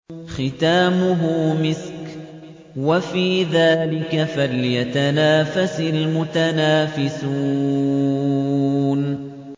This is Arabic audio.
خِتَامُهُ مِسْكٌ ۚ وَفِي ذَٰلِكَ فَلْيَتَنَافَسِ الْمُتَنَافِسُونَ